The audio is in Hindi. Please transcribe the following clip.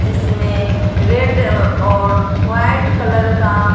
जिसमें रेड अह और वाइट कलर का--